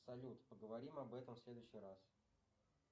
салют поговорим об этом в следующий раз